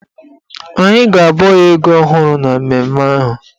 Anyị ga-abọ ya ego ọhụrụ na mmemme ahụ.